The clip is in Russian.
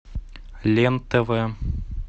лен тв